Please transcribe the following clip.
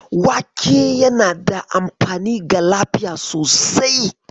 Wake yana da amfani ga lafiya sosai.